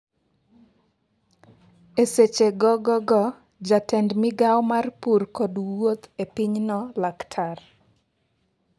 eseche gogogo jatend migawo mar pur kod wuoth e pinyno laktar.